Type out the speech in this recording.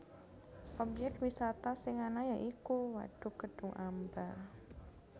Obyek wisata sing ana ya iku wadhuk Kedhung Amba